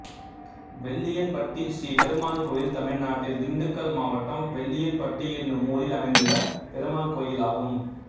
வெள்ளியன்பட்டி ஸ்ரீ பெருமாள் கோயில் தமிழ்நாட்டில் திண்டுக்கல் மாவட்டம் வெள்ளியன்பட்டி என்னும் ஊரில் அமைந்துள்ள பெருமாள் கோயிலாகும்